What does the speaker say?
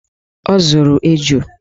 Ọ zụrụ eju